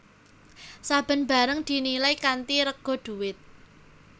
Saben barang dinilai kanthi rega dhuwit